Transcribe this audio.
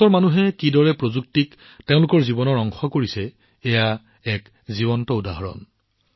ভাৰতৰ মানুহে কেনেকৈ প্ৰযুক্তিক তেওঁলোকৰ জীৱনৰ অংশ কৰি তুলিছে তাৰ এইটো এটা জীৱন্ত উদাহৰণ